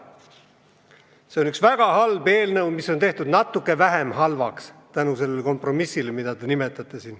See on üks väga halb eelnõu, mis on tehtud natuke vähem halvaks tänu sellele kompromissile, mida te nimetasite.